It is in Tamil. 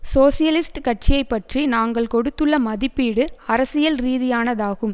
சோசியலிஸ்ட் கட்சியை பற்றி நாங்கள் கொடுத்துள்ள மதிப்பீடு அரசியல் ரீதியானதாகும்